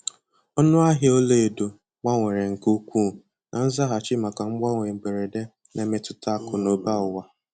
Ọnụ ahịa ọla edo gbanwere nke ukwuu na nzaghachi maka mgbanwe mberede na mmetụta akụ na ụba ụwa.